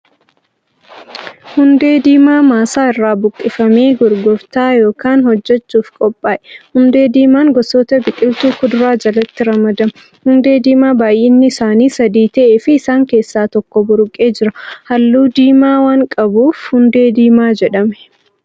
Hundee diimaa maasaa irraa buqqifamee gurgurtaa yookan hojjachuuf qophaa'e. Hundee diimaan gosoota biqiltuu kuduraa jalatti ramadama. Hundee diimaa baay'inni isaanii sadii ta'efi isaan keessa tokko buruqee jira. Halluu diimaa waan qabuuf hundee diimaa jedhame.